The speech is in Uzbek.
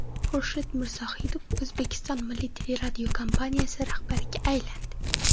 Xurshid Mirzohidov O‘zbekiston Milliy teleradiokompaniyasi rahbariga aylandi.